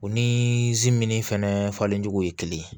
U ni minnu fɛnɛ falencogo ye kelen ye